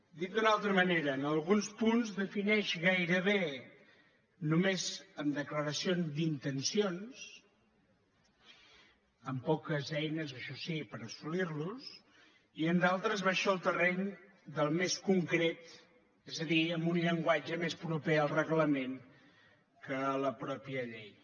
dit d’una altra manera en alguns punts defineix gairebé només amb declaracions d’intencions amb poques eines això sí per assolir·los i en d’altres baixa al terreny del més concret és a dir amb un llenguatge més proper al re·glament que a la mateixa llei